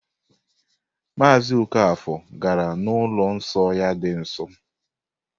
Maazị Okafor gara n'ụlọ nsọ ya dị nsọ.